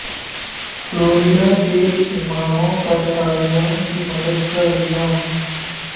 Florida کے اماموں پر طالبان کی مدد کا الزام